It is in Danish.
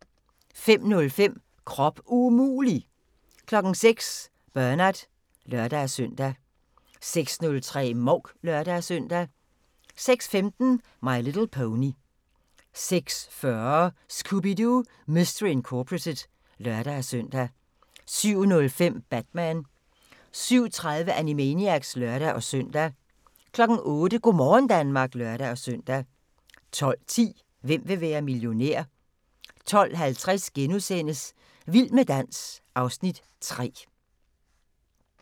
05:05: Krop umulig! 06:00: Bernard (lør-søn) 06:03: Mouk (lør-søn) 06:15: My Little Pony 06:40: Scooby-Doo! Mystery Incorporated (lør-søn) 07:05: Batman 07:30: Animaniacs (lør-søn) 08:00: Go' morgen Danmark (lør-søn) 12:10: Hvem vil være millionær? 12:50: Vild med dans (Afs. 3)*